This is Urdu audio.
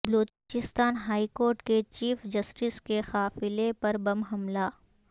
بلوچستان ہائیکورٹ کے چیف جسٹس کے قافلے پر بم حملہ